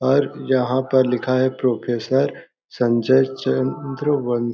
और यहाँ पर लिखा है प्रोफ़ेसर संजय चंद्र वं--